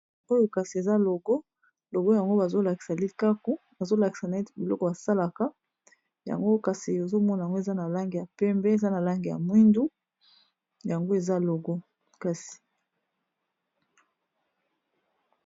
oyo kasi eza logo logo yango bazolakisa likaku bazolakisa na ete biloko basalaka yango kasi ozomona yango eza na lange ya pembe eza na lange ya mwindu yango eza logo kasi